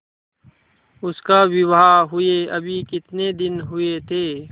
उसका विवाह हुए अभी कितने दिन हुए थे